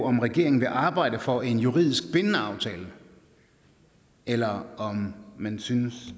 om regeringen vil arbejde for en juridisk bindende aftale eller om man synes